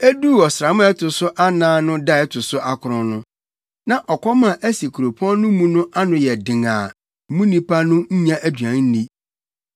Eduu ɔsram a ɛto so anan no da a ɛto so akron no, na ɔkɔm a asi kuropɔn no mu no ano ayɛ den a mu nnipa no nnya aduan nni.